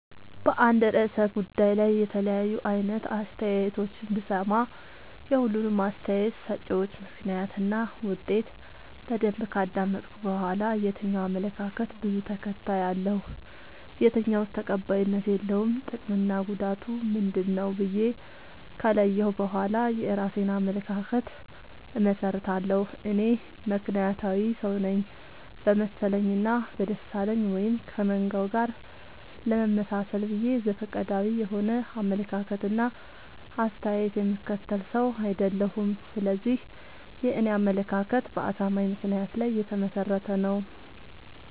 በአንድ እርሰ ጉዳይ ላይ የተለያዩ አይነት አስተያየቶችን ብሰማ። የሁሉንም አስታየት ሰጭወች ምክንያት እና ውጤት በደንብ ካዳመጥኩ በኋላ። የትኛው አመለካከት በዙ ተከታይ አለው። የትኛውስ ተቀባይነት የለውም ጥቅምና ጉዳቱ ምንድ ነው ብዬ ከለየሁ በኋላ የእራሴን አመለካከት አመሠርታለሁ። እኔ ምክንያታዊ ሰውነኝ በመሰለኝ እና በደሳለኝ ወይም ከመንጋው ጋር ለመመጣሰል ብዬ ዘፈቀዳዊ የሆነ አመለካከት እና አስተያየት የምከተል ሰው። አይደለሁም ስለዚህ የኔ አመለካከት በአሳማኝ ምክንያት ላይ የተመሰረተ ነው።